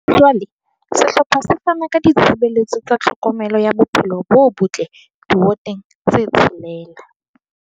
Ha jwale sehlopha se fana ka ditshebeletso tsa tlhokomelo ya bophelo bo botle diwoteng tse tshelela.